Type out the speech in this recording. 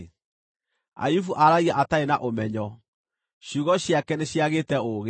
‘Ayubu aaragia atarĩ na ũmenyo; ciugo ciake nĩciagĩte ũũgĩ.’